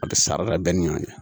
A bɛ sara bɛɛ ni ɲɔn cɛ